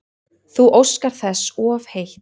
Þú óskar þess of heitt